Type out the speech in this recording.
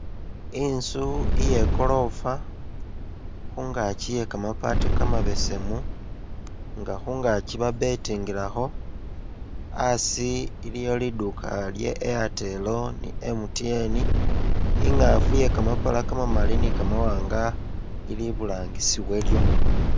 Intsu iye gorofa khungakyi iye kamabati kamabesemu nga khungakyi ba betingilakho, asi ilwo liduka lya Airtel ni MTN , ingafu iye kamapala kamamali ni kamawanga ili iburangisi walyo.